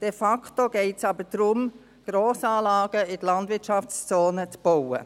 De facto geht es aber darum, Grossanlagen in die Landwirtschaftszone zu bauen.